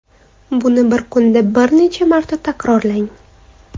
Buni bir kunda bir necha marta takrorlang.